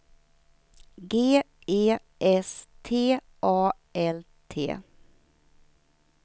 G E S T A L T